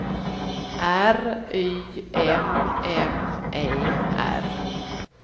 R Y M M E R